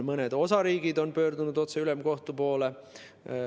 Mõned osariigid on pöördunud otse ülemkohtu poole.